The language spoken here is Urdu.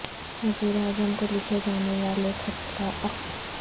وزیر اعظم کو لکھے جانے والے خط کا عکس